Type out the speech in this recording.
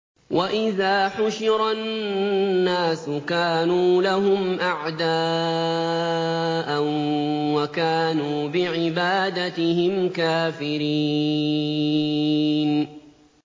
وَإِذَا حُشِرَ النَّاسُ كَانُوا لَهُمْ أَعْدَاءً وَكَانُوا بِعِبَادَتِهِمْ كَافِرِينَ